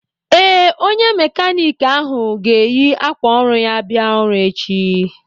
Ee, onye mékánịkị ahụ ga-eyi ákwà ọrụ ya bia ọrụ echi